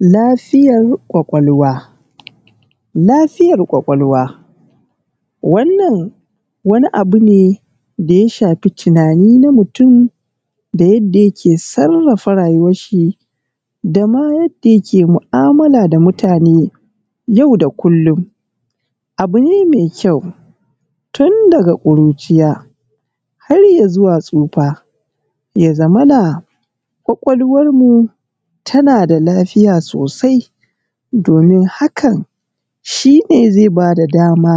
Lafiyar ƙwaƙwalwa. Lafiyar ƙwaƙwalwa wannan wani abu ne da ya shafi tunani na mutun da yadda yake sarrafa rayuwan shi, dama yadda yake mu'amala da mutane yau da kullun. Abu ne mai kyau tun daga ƙuriciya har izuwa tsufa ya zamana ƙwaƙwalwar mu tana da lafiya sosai domin hakan shi ne zai ba da dama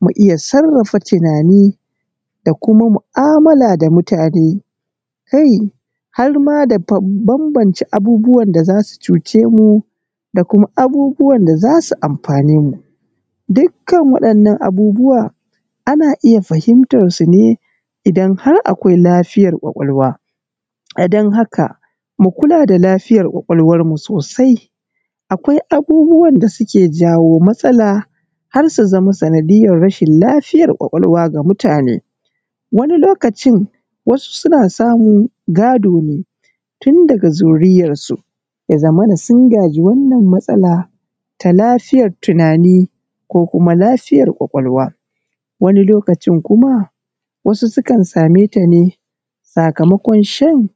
mu iya sarrafa tunani da kuma mu'amala da mutane, kai har ma da bambance abubuwan da za su cuce mu da kuma abubuwan da za su amfane mu. Dukkan waɗannan abubuwan ana iya fahimtar su ne idan har akwai lafiyar ƙwaƙwalwa. A don haka mu kula da lafiyar ƙwaƙwalwar mu sosai. Akwai abubuwan da suke jawo matsala har su zamo sanadiyar rashin lafiyar ƙwaƙwalwa ga mutane. Wani lokacin wasu suna samu gado ne, tun daga zuriyarsu, ya zamana sun gaji wannan matsala ta lafiyar tunani ko kuma lafiyar ƙwaƙwalwa. Wani lokacin kuma wasu sukan sameta ne sakamakon shan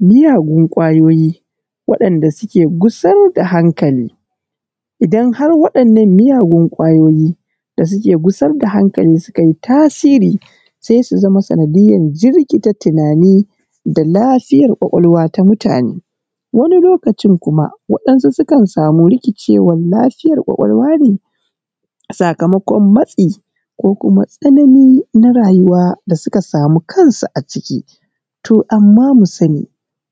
miyagun ƙwayoyi wa'inda suke gusar da hankali. Idan har waɗannan miyagun ƙwayoyi da suke gusar da hankali sukai tasiri, sai su zama sanadiyar jirkita tunani da lafiyar ƙwaƙwalwa ta mutane. Wani lokacin kuma waɗansu sukan samu rikicewan lafiyar ƙwaƙwalwa ne a sakamokon matsi ko kuma tsanani na rayuwa da suka samu kansu a ciki. To amma mu sani,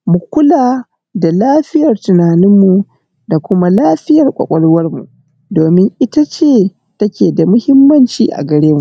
mu kula da lafiyar tunanin mu, da kuma lafiyar ƙwaƙwalwan mu, domin ita ce take da muhimmanci a gare mu.